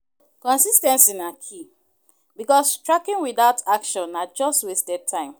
Consis ten cy na key, because tracking without action na just wasted time